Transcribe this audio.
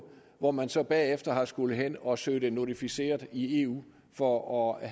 hvor man så bagefter har skullet hen og søge det notificeret i eu for at